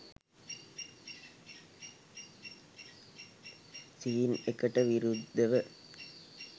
scene එකට විරුද්ධව